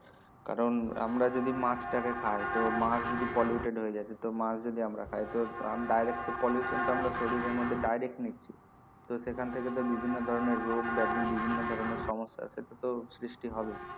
কারণ আমরা যদি মাছ টাকে খাই তো মাছ যদি polluted হয়ে যায় মাছ যদি আমরা খাই তো direct pollution তো শরীর আর মধ্যে direct নিচ্ছি তো সেখান থেকে তো বিভিন্ন ধরনের রোগ ব্যাধী বিভিন্ন ধরনের সমস্যা আছে সেটা তো সৃষ্টি হবে